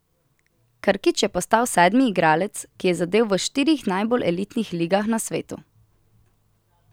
Krkić je postal sedmi igralec, ki je zadel v štirih najbolj elitnih ligah na svetu.